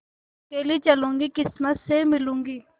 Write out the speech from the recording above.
अकेली चलूँगी किस्मत से मिलूँगी